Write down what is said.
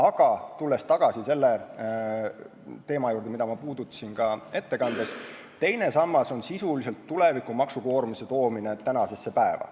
Aga tulles tagasi selle teema juurde, mida ma puudutasin ka ettekandes, siis teine sammas on sisuliselt tuleviku maksukoormuse toomine tänasesse päeva.